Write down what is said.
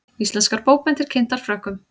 Íslenskar bókmenntir kynntar Frökkum